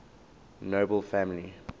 nobel family